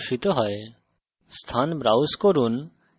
সুতরাং save as dialog box প্রদর্শিত হয়